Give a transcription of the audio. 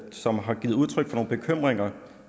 som har givet udtryk for nogle bekymringer